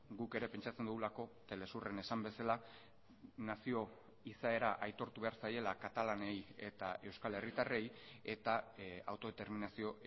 guk ere pentsatzen dugulako telesurren esan bezala nazio izaera aitortu behar zaiela katalanei eta euskal herritarrei eta autodeterminazio